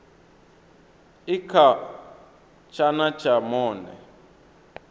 i kha tshana tsha monde